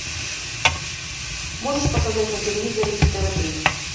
можешь показать на телевизоре тв три